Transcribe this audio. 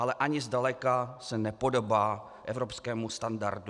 Ale ani zdaleka se nepodobá evropskému standardu.